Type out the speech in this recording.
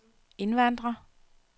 indvandrere